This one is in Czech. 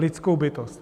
Lidskou bytost.